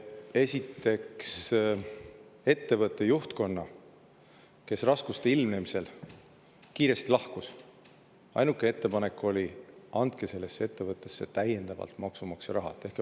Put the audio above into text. Esiteks, ettevõtte juhtkonnal, kes raskuste ilmnemisel kiiresti lahkus, oli ainuke ettepanek, et tehke valitsuses otsus ja andke sinna täiendavalt maksumaksja raha.